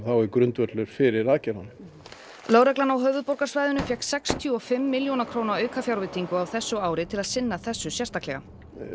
er grundvöllur fyrir aðgerðunum lögreglan á höfuðborgarsvæðinu fékk sextíu og fimm milljóna króna aukafjárveitingu á þessu ári til að sinna þessu sérstaklega